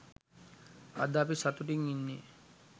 අද අපි සතුටින් ඉන්නේ.